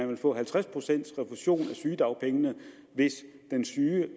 vil få halvtreds pcts refusion af sygedagpengene hvis den syge